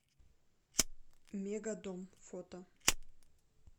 мегадом фото